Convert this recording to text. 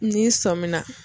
N'i sɔmina.